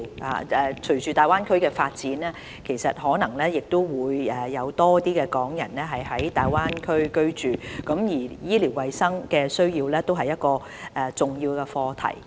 隨着大灣區的發展，可能會有更多港人在大灣區居住，他們的醫療衞生需要也是一個重要課題。